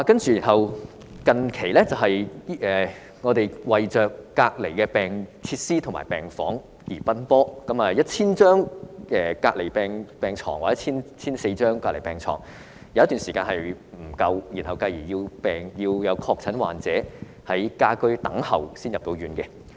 最近，我們為隔離設施和病房而奔波 ，1,000 張或 1,400 張隔離病床有一段時間不足以應付需求，以致有確診患者要在家居等候入院。